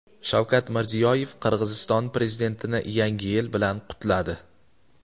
Shavkat Mirziyoyev Qirg‘iziston prezidentini Yangi yil bilan qutladi.